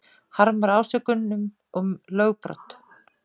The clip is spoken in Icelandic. Harmar ásökun um lögbrot